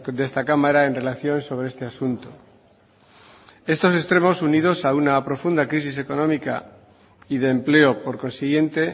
de esta cámara en relación sobre este asunto estos extremos unidos a una profunda crisis económica y de empleo por consiguiente